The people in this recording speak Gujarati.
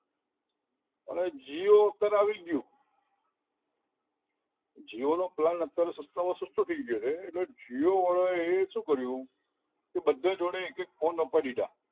હવે jio અત્યારે આવી ગયું jio નો plan અત્યારે સસ્તામાં સસ્તામાં થઈ ગયો છે એટલે jio વાળા એ શું કર્યું કે બધા જોડે એક એક ફોન અપાઈ દીધા